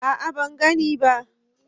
a'a ban gani ba